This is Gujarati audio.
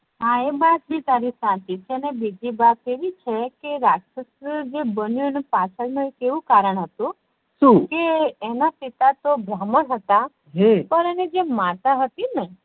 હા એ વાત બી તારી સાચી છે અને બીજી વાત એવી છે કે રાક્ષસ બનીયો એ પાચડ નું એક આવું કારણ હતું કે એના પિતા તો બ્રહ્માન હતા પણ એની જે માતા હતી ને